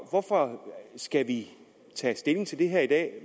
skal vi tage stilling til det her i